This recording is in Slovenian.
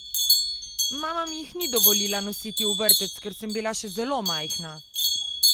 Mama mi jih ni dovolila nositi v vrtec, ker sem bila še zelo majhna.